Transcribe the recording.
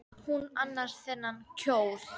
Hvar fékk hún annars þennan kjól?